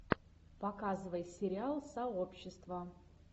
показывай сериал сообщество